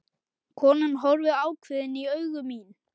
Konan horfir ákveðin í augu mín.